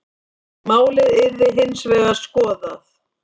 Málið yrði hins vegar skoðað.